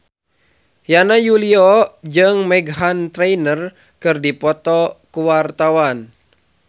Yana Julio jeung Meghan Trainor keur dipoto ku wartawan